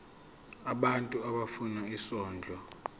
abantu abafuna isondlo